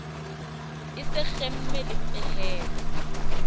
e se kgeme le pehelo